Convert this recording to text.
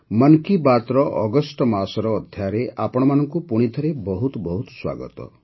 ମନ୍ କି ବାତ୍ର ଅଗଷ୍ଟ ମାସର ଅଧ୍ୟାୟରେ ଆପଣମାନଙ୍କୁ ପୁଣି ଥରେ ବହୁତ ବହୁତ ସ୍ୱାଗତ